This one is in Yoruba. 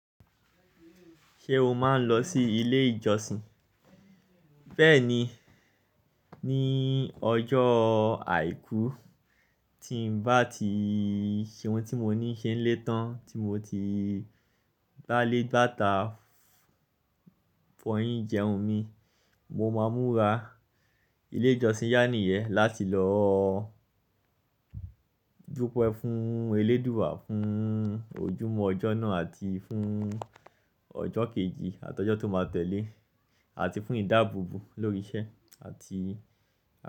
Ṣé o máa ń lọ sí ilé ìjọsìn? Bẹ́ẹ̀ni, ní ọjọ́ àìkú, tí n bá ti ṣe ohun tí mo ní ṣe lé tán, tí mo ti bá lé gbàtà fọyín jẹun mi, mo máa múra. Ilé ìjọsìn yá nìyẹn láti lọ dúpẹ́ fún Elédùà fún ojúmọ́ ọjọ́ náà àti fún ọjọ́ kejì àti ọjọ́ tó máa tẹ́lé, àti fún ìdáàbòbò lórí iṣẹ́ àti.